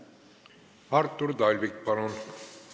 Artur Talvik, palun!